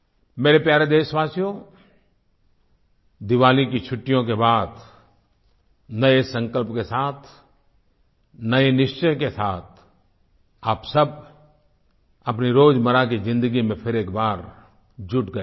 मेरे प्यारे देशवासियो दिवाली की छुट्टियों के बाद नए संकल्प के साथ नए निश्चय के साथ आप सब अपनी रोज़मर्रा की ज़िन्दगी में फिर एक बार जुट गए होंगे